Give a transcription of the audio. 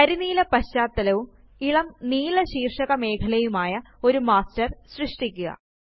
കരിനീല പശ്ചാത്തലവും ഇളം നീല ശീര്ഷക മെഖലയുമായി ഒരു മാസ്റ്റര് സൃഷ്ടിക്കുക